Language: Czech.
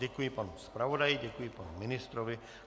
Děkuji panu zpravodaji, děkuji panu ministrovi.